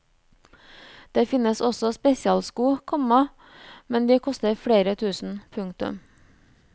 Det finnes også spesialsko, komma men de koster flere tusen. punktum